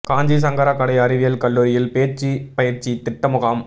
காஞ்சி சங்கரா கலை அறிவியல் கல்லூரியில் பேச்சு பயிற்சி திட்ட முகாம்